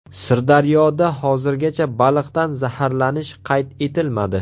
Sirdaryoda hozirgacha baliqdan zaharlanish qayd etilmadi.